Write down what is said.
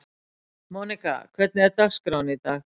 Monika, hvernig er dagskráin í dag?